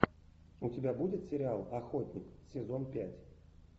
у тебя будет сериал охотник сезон пять